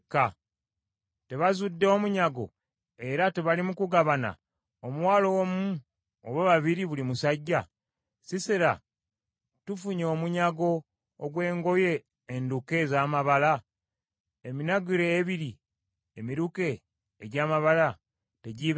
‘Tebazudde omunyago era tebali mu kugugabana, omuwala omu oba babiri buli musajja? Sisera tufunye omunyago ogw’engoye enduke ez’amabala? Eminagiro ebiri emiruke, egy’amabala tegiibe gyange?’